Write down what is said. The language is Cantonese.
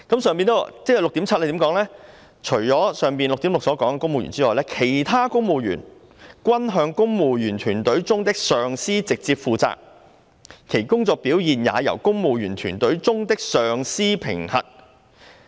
第 6.7 段則訂明，除了第 6.6 段所述的公務員外，"其他公務員均向公務員隊伍中的上司直接負責，其工作表現也由公務員隊伍中的上司評核。